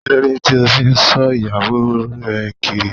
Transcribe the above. Kílódé ti o n so ìyàwó re Kiri?